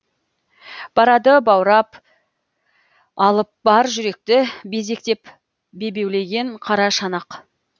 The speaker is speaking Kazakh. барады баурап алып бар жүректі безектеп бебеулеген қара шанақ